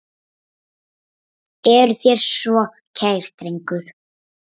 Eruð þér svona kær drengur?